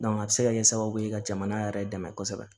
a bɛ se ka kɛ sababu ye ka jamana yɛrɛ dɛmɛ kosɛbɛ